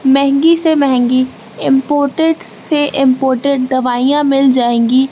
महंगी से महंगी इंपोर्टेस से इंपॉर्टेंट दवाइयां मिल जाएगी।